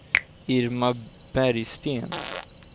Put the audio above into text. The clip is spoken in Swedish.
Irma Bergsten